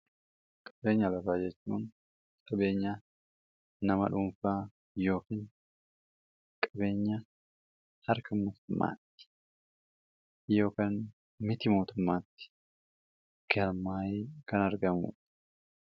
qabeenya lafaa jechuun qabeenyaa nama dhuunfaa yookaan qabeenya harka mootummaatti yookaan miti mootummaatti galmaa'ee kan argamuudha.